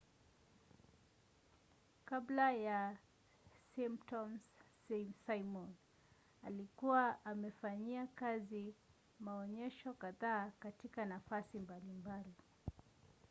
kabla ya the simpsons simon alikuwa amefanyia kazi maonyesho kadhaa katika nafasi mbalimbali